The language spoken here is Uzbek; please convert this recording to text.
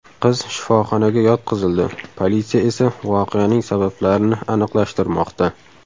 Qiz shifoxonaga yotqizildi, politsiya esa voqeaning sabablarini aniqlashtirmoqda.